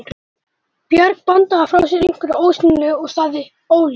Björg bandaði frá sér einhverju ósýnilegu og sagði: Óljóst.